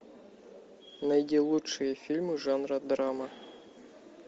найди лучшие фильмы жанра драма